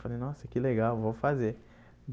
Falei, nossa, que legal, vou fazer.